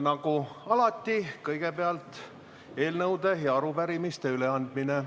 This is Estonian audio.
Nagu alati, kõigepealt eelnõude ja arupärimiste üleandmine.